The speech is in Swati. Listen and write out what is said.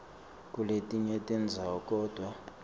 kuletinye tindzawo kodvwa